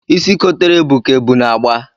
Isi kotara ebu ka ebu na-agba.